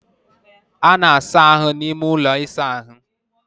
a na-asa ahụ n'ime ulọ ịsa ahụ